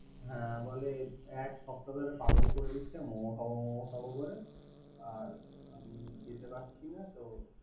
হ্যা বল এক সপ্তাহ হলে পাগল করে দিচ্ছে। মোমো খাবো মোমো খাবো বলে। আমি যেতে পারছি না তো।